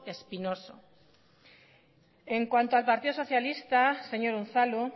espinoso en cuanto al partido socialista señor unzalu